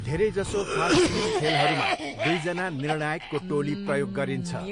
धेरैजसो फास्टपिच खेलहरूमा दुईजना निर्णायकको टोली प्रयोग गरिन्छ।